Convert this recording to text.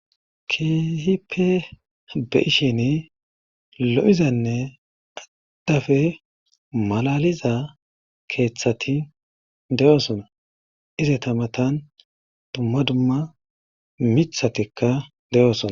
keesipe be ishin lo7izanne adhafe malaliza keeththati de7oosona ize tamatan dumma dumma mithatikka de7oosona